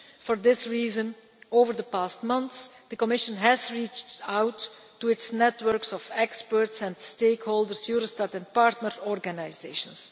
For this reason, over the past months the Commission has reached out to its networks of experts and stakeholders, Eurostat and partner organisations.